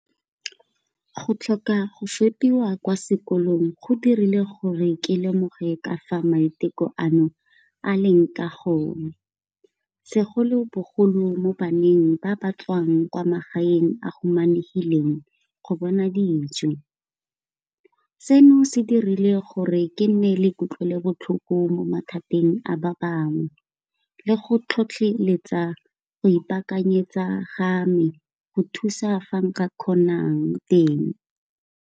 Go tlhoka go fepiwa kwa sekolong go dirile gore ke lemoge ka fa maiteko ano a leng ka gona, segolo bogolo mo baneng ba ba tswang kwa magaeng a humanegileng go bona dijo. Seno se dirile gore ke nne le kutlwelo botlhoko mo mathateng a ba bangwe le go tlhotlheletsa go ipakanyetsa, ga me go thusa fa nka kgonang teng.